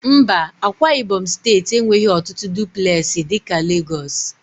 Mba, Ákwá ibom steeti enweghị ọtụtụ dụplesi dị ka Lagos